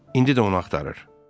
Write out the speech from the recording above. İndi də onu axtarır.